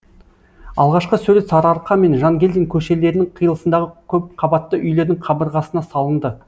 алғашқы сурет сарыарқа мен жангелдин көшелерінің қиылысындағы көпқабатты үйлердің қабырғасына салынды